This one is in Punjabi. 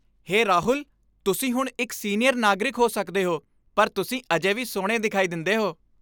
ਹੇ ਰਾਹੁਲ, ਤੁਸੀਂ ਹੁਣ ਇੱਕ ਸੀਨੀਅਰ ਨਾਗਰਿਕ ਹੋ ਸਕਦੇ ਹੋ, ਪਰ ਤੁਸੀਂ ਅਜੇ ਵੀ ਸੋਹਣੇ ਦਿਖਾਈ ਦਿੰਦੇ ਹੋ।